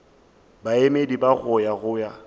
baemedi ba go ya go